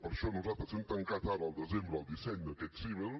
per això nosaltres hem tancat ara al desembre el disseny d’aquest sisvel